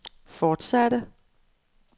fortsatte